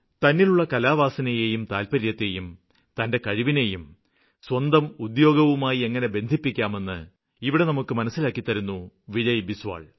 തന്നിലുള്ള കലാവാസനയേയും താല്പര്യത്തേയും തന്റെ കഴിവിനേയും സ്വന്തം ഉദ്യോഗവുമായി എങ്ങിനെ ബന്ധിപ്പിക്കാമെന്ന് ഇവിടെ നമുക്ക് മനസ്സിലാക്കിത്തരുന്നു വിജയ് ബിസ്വാല്